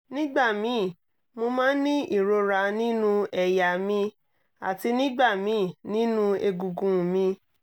nígbà míì mo máa ń ní ìrora nínú ẹ̀yà mi àti nígbà míì nínú egungun mi